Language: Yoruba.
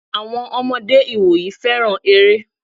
Àwọn ọmọdé ìwòyí féràn eré.